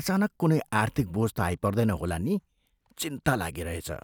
अचानक कुनै आर्थिक बोझ त आइपर्दैन होला नि! चिन्ता लागिरहेछ।